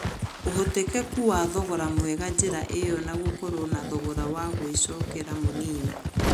ũhotekeku wa thogora mwega njĩra ĩyo na gũkorwo na thogora wa gũĩcokera mũnini.